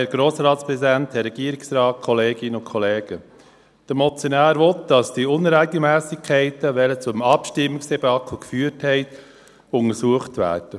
Der Motionär möchte, dass die Unregelmässigkeiten, welche zum Abstimmungsdebakel geführt haben, untersucht werden.